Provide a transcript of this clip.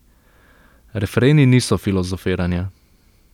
Refreni niso filozofiranja.